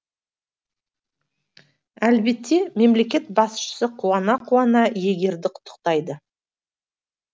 әлбетте мемлекет басшысы қуана қуана иегерді құттықтайды